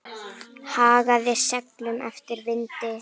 Hagaði seglum eftir vindi.